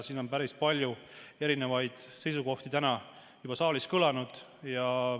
Päris palju erinevaid seisukohti on täna juba saalis kõlanud.